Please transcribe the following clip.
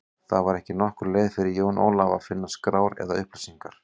Það var ekki nokkur leið fyrir Jón Ólaf að finna skrár eða upplýsingar.